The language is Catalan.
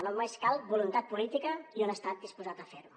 només cal voluntat política i un estat disposat a fer ho